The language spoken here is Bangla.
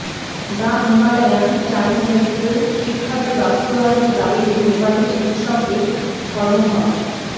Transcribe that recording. দ্য হিমালয়ান টাইমসমেডিক্যাল শিক্ষা বিল বাস্তবায়নের দাবিতে নেপালি চিকিৎসকদের ধর্মঘট